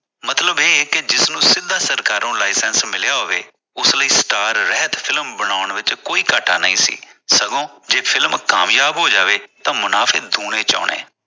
ਮਤਲਬ ਇਹ ਜਿਸ ਨੂੰ ਸਿੱਧਾ ਸਰਕਾਰੋਂ licence ਮਿਲਿਆ ਹੋਵੇ ਉਸ ਲਈ star ਰਹਿਤ ਫਿਲਮ ਬਣਾਉਣ ਵਿਚ ਕੋਈ ਘਾਟਾ ਨਹੀ ਸੀ ਸਗੋਂ ਫਿਲਮ ਕਾਮਯਾਬ ਜਹੋ ਜਾਵੇ ਤਾਂ ਮੁਨਾਫੇ ਦੋਵੇ ਵਿਚ ਆਉਣੇ